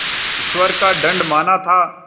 ईश्वर का दंड माना था